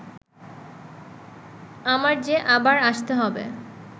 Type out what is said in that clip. আমার যে আবার আসতে হবে